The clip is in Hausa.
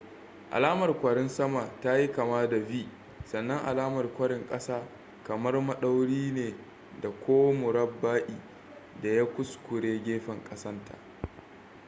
alamar kwarin sama ta yi kama da v sannan alamar kwarin ƙasa kamar maɗauri ne ko murabba'i da ya kuskure gefen ƙasan ta